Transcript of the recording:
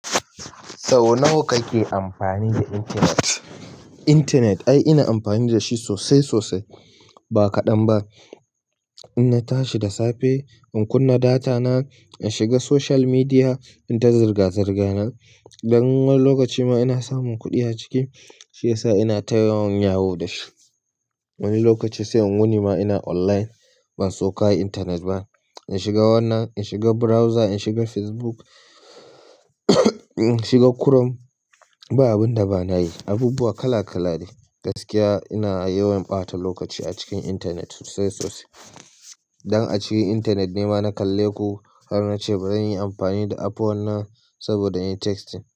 Sau nawa kake amfani da intanet? Intanet ai ina amfani da shi sosai sosai ba kaɗan ba. In na tashi da safe in kunna data na in shiga social media in ta zirga-zirga na. Wani lokaci ma ina samun kuɗi a ciki, shi ya sa ina ta yawan yawo da shi. Wani lokaci sai in wuni ma ina online ban sauka a intanet ba. In shiga wannan, in shiga browser, in shiga Facebook in shiga Chrome, ba abin da bana yi. Abubuwa kala kala ne. Gaskiya ina yawan ɓata lokaci a cikin intanet sosai sosai. Dan a cikin intanet ne ma na kalle ku har na ce bari in yi amfani da app wannan saboda in yi testing.